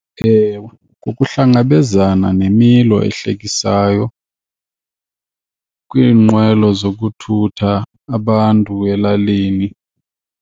Ewe, kuhlangabezana nemilo ehlekisayo kwiinqwelo zokuthumela abantu elalini.